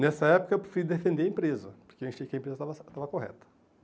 Nessa época, eu preferi defender a empresa, porque achei que a empresa estava cer estava correta.